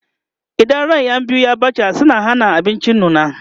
idan ran ƴan biyu ya ɓace suna Hana abinci nuna